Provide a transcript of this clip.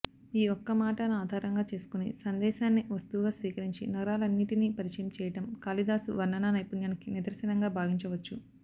ఈ ఒక్కమాటనాధారంగా చేసుకొని సందేశాన్ని వస్తువుగా స్వీకరించి నగరాలనన్నిటినీ పరిచయం చేయడం కాళిదాసు వర్ణనా నైపుణ్యానికి నిదర్శనంగా భావించవచ్చు